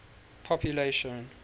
population